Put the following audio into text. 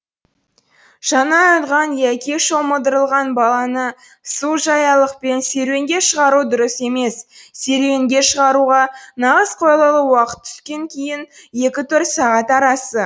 жаңа оянған яки шомылдырылған баланы су жаялықпен серуенге шығару дұрыс емес серуенге шығаруға нағыз қолайлы уақыт түстен кейінгі екі төрт сағат арасы